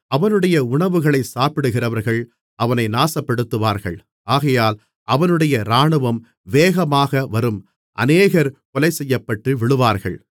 அவனுடைய உணவுகளைச் சாப்பிடுகிறவர்கள் அவனை நாசப்படுத்துவார்கள் ஆகையால் அவனுடைய இராணுவம் வேகமாக வரும் அநேகர் கொலைசெய்யப்பட்டு விழுவார்கள்